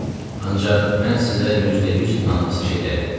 Ancaq mən sizə 100% inanlası şeylər dedim.